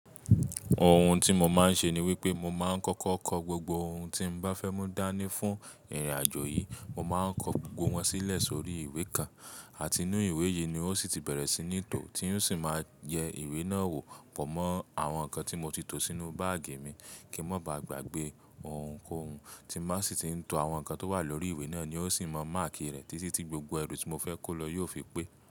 Ohun tí mo máa ń ṣe ni wípé mo máa ń kọ́kọ́ kọ gbogbo ohun tí mo bá fẹ́ mú dání fún ìrìn àjò yìí. Mo máa ń kọ gbogbo wọn sílẹ̀ sórí ìwé kan àti inú ìwé yìí ni un ó sì ti bẹ̀rẹ̀ sí ní tó tí un ó sì máa yẹ ìwé náà wò pọ̀ mọ́ àwọn nǹkan tí mo ti to sínú báàgì mi kí mọ́ bá gbàgbé ohunkóhun tí m bá sì ti ń to àwọn nǹkan tó wà lórí ìwé náà ni un ó sì máa máàkì rẹ̀ títí tí gbogbo ẹrù tí mo fẹ́ kó lọ yóò fi pé.